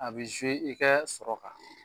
A be i kaa sɔrɔ kan.